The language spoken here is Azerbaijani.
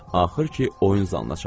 Axır ki, oyun zalına çatdıq.